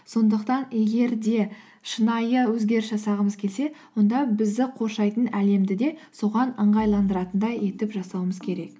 сондықтан егер де шынайы өзгеріс жасағымыз келсе онда бізді қоршайтын әлемді де соған ыңғайландыратындай етіп жасауымыз керек